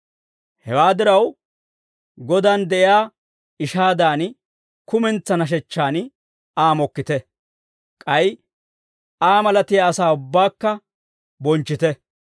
Hewaa diraw, Godan de'iyaa ishaadan, kumentsaa nashechchan Aa mokkite; k'ay Aa malatiyaa asaa ubbaakka bonchchite.